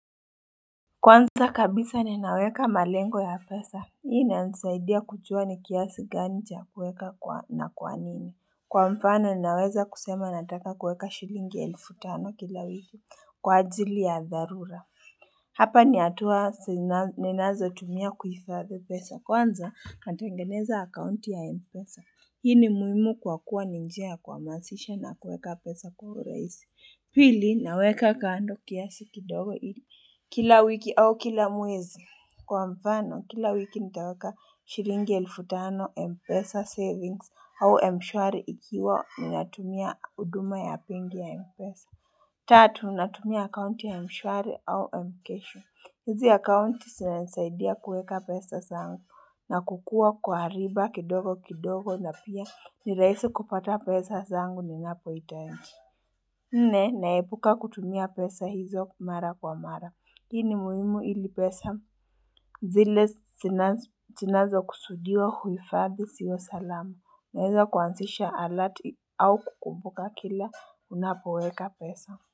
Kwanza kabisa ninaweka malengo ya pesa. Hii inanisaidia kujua ni kiasi gani cha kuweka na kwanini. Kwa mfano ninaweza kusema nataka kuweka shillingi elfu tano kila wiki kwa ajili ya dharura. Hapa nihatua ninazo tumia kuhifadhi pesa. Kwanza natengeneza akaunti ya Mpesa. Hii ni muhimu kwa kuwa ni njia ya kuhamasisha na kuweka pesa kwa urahisi. Pili, naweka kando kiasi kidogo ili. Kila wiki au kila mwezi. Kwa mfano, kila wiki nitaweka shilingi elfu tano Mpesa Savings au Mshwari ikiwa ninatumia huduma ya pin ya Mpesa. Tatu, natumia akaunti ya mshwari au mkesho. Hizi akaunti zinanisaidia kuweka pesa zangu na kukua kwa riba kidogo kidogo na pia ni rahisi kupata pesa zangu ninapo hitaji nne, naepuka kutumia pesa hizo mara kwa mara. Hii ni muhimu ili pesa. Zile zinazo kusudiwa kuhifadhi ziwe salama. Naweza kuanzisha alati au kukumbuka kila unapoweka pesa.